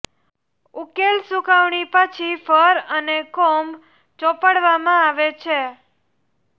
ઉકેલ સૂકવણી પછી ફર અને કોમ્બ ચોપડવામાં આવે છે